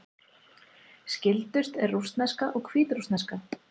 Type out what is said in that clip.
Skyldust eru rússneska og hvítrússneska.